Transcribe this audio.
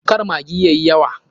Kar maggi yayi yawa.